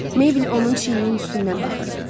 Meybl onun çiyininin üstündən baxırdı.